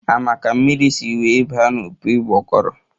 A ma ka mmiri si wee ba n'opi ụgbọguru?